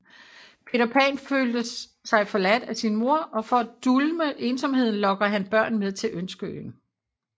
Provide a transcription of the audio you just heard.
Peter Pan føler sig forladt af sin mor og for at dulme ensomheden lokker han børn med til Ønskeøen